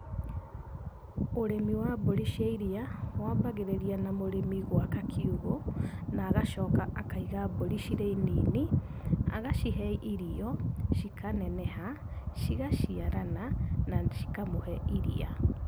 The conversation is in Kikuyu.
Ũrĩmi wa mbũri cia iria wambagĩrĩria na mũrĩmi gwaka kiugũ, na agacoka akaiga mbũri cirĩ nini, agacihe irio cikaneneha cigaciarana na cikamũhe iria.